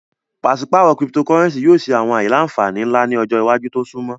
Paṣipaarọ Cyptocurrency yoo ni awọn aila-nfani nla ni ọjọ iwaju to sunmọ